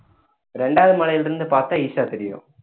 ரெண்டாவது மலையில இருந்து பார்த்தா ஈஷா தெரியும்